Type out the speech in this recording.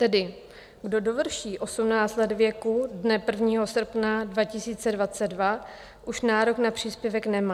Tedy kdo dovrší 18 let věku dne 1. srpna 2022, už nárok na příspěvek nemá.